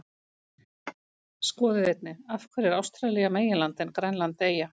Skoðið einnig: Af hverju er Ástralía meginland en Grænland eyja?